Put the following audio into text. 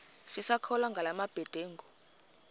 sisakholwa ngala mabedengu